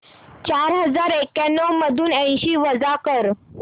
चार हजार एक्याण्णव मधून ऐंशी वजा कर